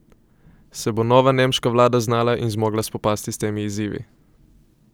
Se bo nova nemška vlada znala in zmogla spopasti s temi izzivi?